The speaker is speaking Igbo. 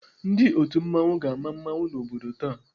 Ndị otu mmanwụ ga-ama mmanwụ n'ámá obodo taa.